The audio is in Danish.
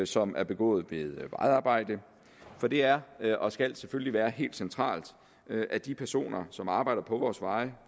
som er begået ved vejarbejde for det er og skal selvfølgelig være helt centralt at de personer som arbejder på vores veje